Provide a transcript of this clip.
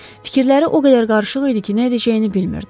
Fikirləri o qədər qarışıq idi ki, nə edəcəyini bilmirdi.